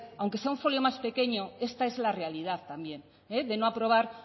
aunque sea un folio más pequeño esta es la realidad también de no aprobar